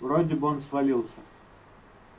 вроде бы он свалился